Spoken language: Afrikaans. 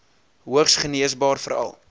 hoogs geneesbaar veral